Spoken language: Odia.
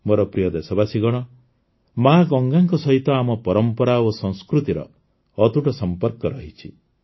ମୋର ପ୍ରିୟ ଦେଶବାସୀଗଣ ମାଆ ଗଙ୍ଗାଙ୍କ ସହ ଆମ ପରମ୍ପରା ଓ ସଂସ୍କୃତିର ଅତୁଟ ସମ୍ପର୍କ ରହିଛି